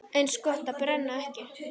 Eins gott að brenna ekki!